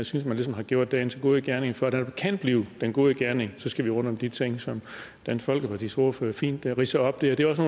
synes man ligesom har gjort dagens gode gerning for at det kan blive den gode gerning skal vi rundt om de ting som dansk folkepartis ordfører fint ridser op her det er også